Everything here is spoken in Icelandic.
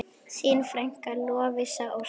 Þín frænka, Lovísa Ósk.